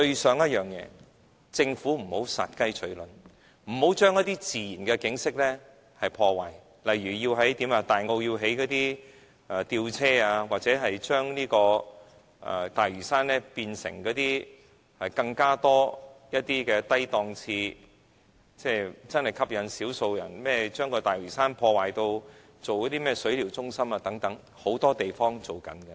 希望政府不要殺雞取卵，不要再破壞自然景色，例如在大澳興建吊車或將大嶼山變成更多低檔次的旅遊點，興建只能吸引少數人的水療中心等，這些設施很多地方都有。